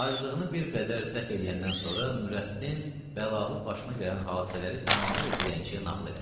Aclığını bir qədər dəf eləyəndən sonra Nurəddin bəlalı başına gələn hadisələri tamamilə dilənçiyə nağıl elədi.